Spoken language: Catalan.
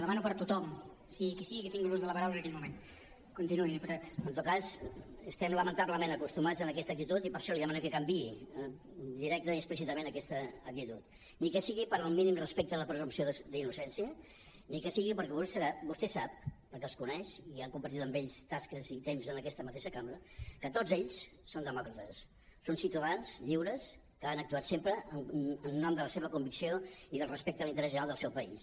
en tot cas estem lamentablement acostumats a aquesta actitud i per això li demanem que canviï directament i explícitament aquesta actitud ni que sigui pel mínim respecte a la presumpció d’innocència ni que sigui perquè vostè sap perquè els coneix i ha compartit amb ells tasques i temps en aquesta mateixa cambra que tots ells són demòcrates són ciutadans lliures que han actuat sempre en nom de la seva convicció i del respecte a l’interès general del seu país